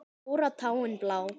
Stóra táin blá.